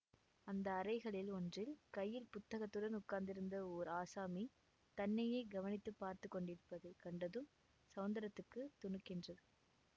அந்த அறைகளில் ஒன்றில் கையில் புத்தகத்துடன் உட்கார்ந்திருந்த ஓர் ஆசாமி தன்னையே கவனித்து பார்த்து கொண்டிருப்பதை கண்டதும் ஸௌந்தரத்துக்குத் துணுக்கென்றது